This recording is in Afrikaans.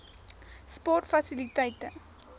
sportfasiliteite